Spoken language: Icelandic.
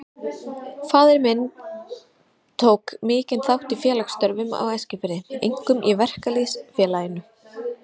Faðir minn tók mikinn þátt í félagsstörfum á Eskifirði, einkum í Verkalýðs- félaginu.